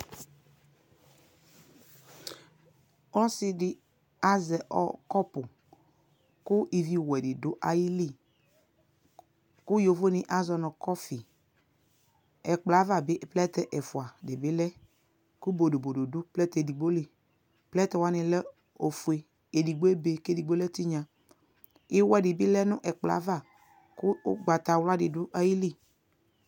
Ɔsɛɛdɛ aʒɔ ɔ kɔpuu ku ivi wɛdi du ayili ku yovonɛ aʒɔɔ nu kɔfii Ɛkplɔ ku bodobodo du plɛɛtɛ edigboliPlɛɛtɛwani lɛ ofue edigboebe kedigbo lɛ tinya Iwɛɛ dibi lɛ nɛkplɔava kuu ugbatawla dɛ duayili